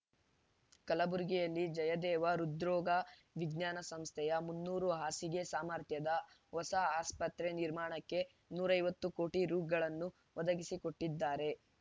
ಕಲ್ಬುರ್ಗಿಯಲ್ಲಿ ಜಯದೇವ ಹೃದ್ರೋಗ ವಿಜ್ಞಾನ ಸಂಸ್ಥೆಯ ಮುನ್ನೂರು ಹಾಸಿಗೆ ಸಾಮರ್ಥ್ಯದ ಹೊಸ ಆಸ್ಪತ್ರೆ ನಿರ್ಮಾಣಕ್ಕೆ ನೂರ ಐವತ್ತು ಕೋಟಿ ರೂಗಳನ್ನು ಒದಗಿಸಿಕೊಟ್ಟಿದ್ದಾರೆ